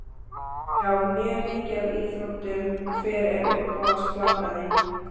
Já mjög mikið af íþróttum Hver er uppáhalds platan þín?